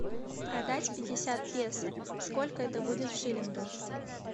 продать пятьдесят песо сколько это будет в шиллингах